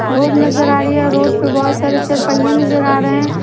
Road नजर आ रही है रोड पे बहुत सारे चरपही नजर आ रहे हैं।